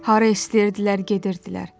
Hara istəyirdilər gedirdilər.